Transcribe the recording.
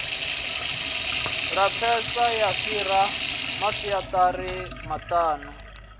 lapfesa ya fhira masiazari maṱanu